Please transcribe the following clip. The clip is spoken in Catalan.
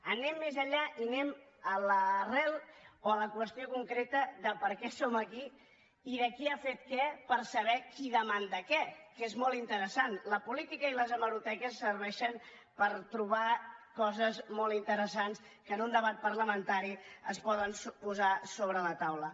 anem més enllà i anem a l’arrel o a la qüestió concreta de per què som aquí i de qui ha fet què per saber qui demana què que és molt interessant la política i les hemeroteques serveixen per trobar coses molt interessants que en un debat parlamentari es poden posar sobre la taula